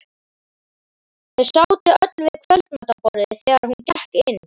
Þau sátu öll við kvöldmatarborðið þegar hún gekk inn.